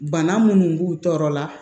Bana munnu b'u tɔɔrɔ la